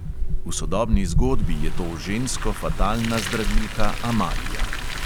V sodobni zgodbi je to žensko-fatalna zdravilka amalija.